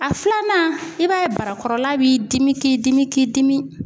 A filanan i b'a ye barakɔrɔla b'i dimi k'i dimi k'i dimi